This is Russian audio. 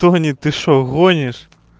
тони ты что гонишь